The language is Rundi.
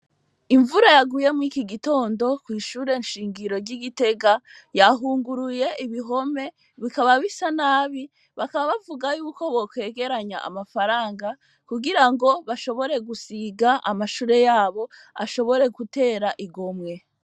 Imvura yaguye mwiki gitondo kw'ishure nshingiro ry'igitega yahunguruye ibihome bikaba bisa nabi bakaba bavuga yuko bokwegeranya amafaranga kugira ngo bashobore gusiga amashure yabo ashobore gutera igomwe.